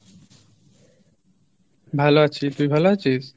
ভালো আছি, তুই ভালো আছিস?